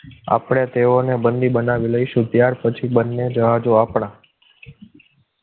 આપણે તેઓને બંધી બનાવી લઈશું ત્યાર પછી બંને જહાજો આપણા